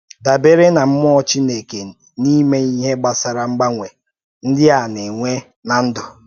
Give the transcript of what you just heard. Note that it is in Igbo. Dabere na mmụọ Chineke n’ime ihe gbasara mgbanwe ndị a na-enwe ná ndụ.